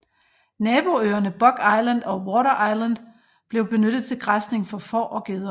Naboøerne Buck Island og Water Island blev benyttet til græsning for får og geder